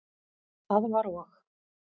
Það var og?